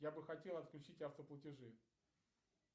я бы хотел отключить автоплатежи